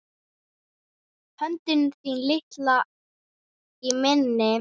Höndin þín litla í minni.